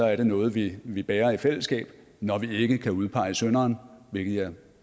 er det noget vi vi bærer i fællesskab når vi ikke kan udpege synderen hvilket jeg